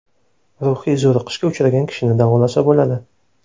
Ruhiy zo‘riqishga uchragan kishini davolasa bo‘ladi.